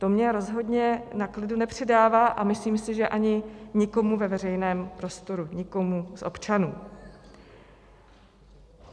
To mi rozhodně na klidu nepřidává a myslím si, že ani nikomu ve veřejném prostoru, nikomu z občanů.